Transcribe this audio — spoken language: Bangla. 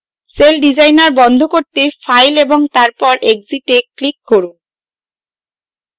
celldesigner বন্ধ করতে file এবং তারপর exit এ click করুন